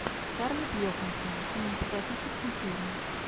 скарлетт йоханссон кинематографический фильм